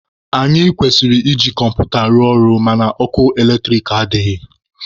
Anyị kwesịrị iji kọmputa rụọ ọrụ mana ọkụ eletrik adịghị.